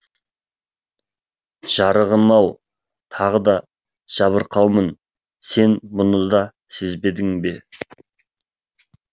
жарығым ау тағы да жабырқаумын сен бұны да сезбедің бе